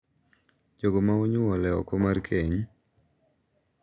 jogo ma onyuol e oko mar keny, .